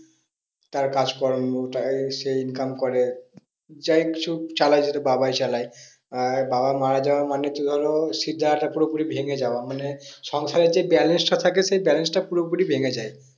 তারা কাজ কর্ম সে income করে যাই হোগ কিছু চালায় সেটা বাবাই চালায় আহ বাবা মারা যাওয়া মানে হচ্ছে ধরো শিড়দাঁড়াটা পুরোপুরি ভেঙে যাওয়া মানে সংসারের যে balance টা থাকে সেই balance টা পুরোপুরি ভেঙে যায়।